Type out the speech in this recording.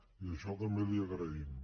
i això també l’hi agraïm